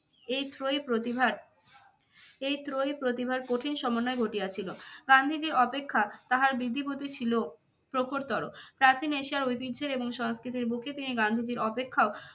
এই ত্রয়ী প্রতিভার, এই ত্রয়ী প্রতিভার কঠিন সমন্বয় ঘটিয়েছিল। গান্ধীজী অপেক্ষা তাহার বৃদ্ধি বুদ্ধি ছিল প্রখরতর। প্রাচীন এশিয়া ঐতিহ্যের এবং সংস্কৃতির বুকে তিনি গান্ধীজীর অপেক্ষক